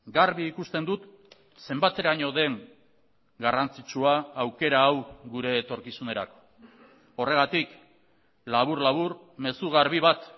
garbi ikusten dut zenbateraino den garrantzitsua aukera hau gure etorkizunerako horregatik labur labur mezu garbi bat